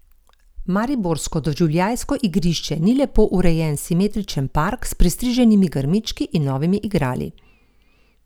Mariborsko Doživljajsko igrišče ni lepo urejen simetričen park s pristriženimi grmički in novimi igrali.